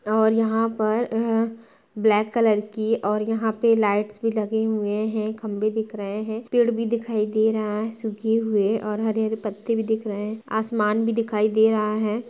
और यहाँ पर अअ ब्लैक कलर की और यहाँ पे लाइट्स भी लगी हुई हैं खंबे दिख रहे हैं पेड़ भी दिखाई दे रहा है सूखे हुए और हरे-हरे पत्ते भी दिख रहे हैं। आसमान भी दिखाई दे रहा है।